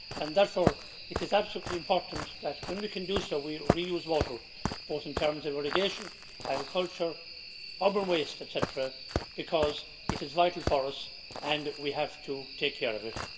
Therefore it is absolutely important that, when we can do so, we reuse water in terms of irrigation, agriculture, urban waste etc. because it is vital for us and we have to take care of it.